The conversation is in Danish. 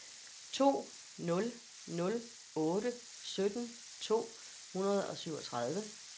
to nul nul otte sytten to hundrede og syvogtredive